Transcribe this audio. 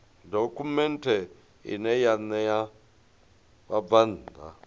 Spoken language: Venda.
dokhumenthe ine ya ṋea vhabvann